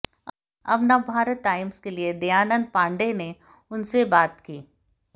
जब नवभारत टाइम्स के लिए दयानंद पांडेय ने उन से बात की